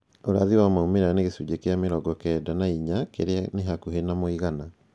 Ũrathi wa maumĩrĩra ni gĩcunjĩ kĩa mĩrongo kenda na inya kĩrĩa nĩ hakuhĩ na mũigana